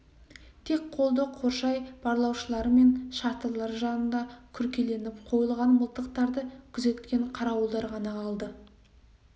тек қолды қоршай барлаушылар мен шатырлар жанында күркеленіп қойылған мылтықтарды күзеткен қарауылдар ғана қалды